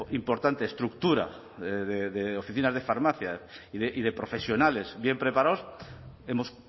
importante estructura de oficina de farmacia y de profesionales bien preparados hemos